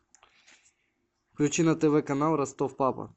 включи на тв канал ростов папа